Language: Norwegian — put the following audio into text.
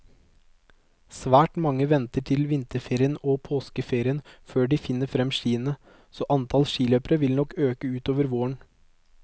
Svært mange venter til vinterferie og påskeferie før de finner frem skiene, så antall skiløpere vil nok øke utover våren.